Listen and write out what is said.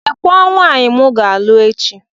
Lekwa nwaanyị m ga-alụ echi.